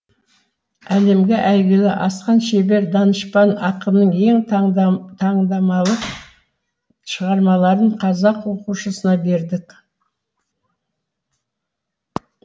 әлемге әйгілі асқан шебер данышпан ақынның ең таңдамалы шығармаларын қазақ оқушысына бердік